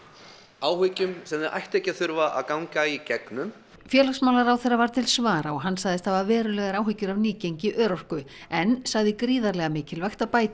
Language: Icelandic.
áhyggjum sem þau ættu ekki að þurfa að ganga í gegnum félagsmálaráðherra var til svara og hann sagðist hafa verulegar áhyggjur af nýgengi örorku en sagði gríðarlega mikilvægt að bæta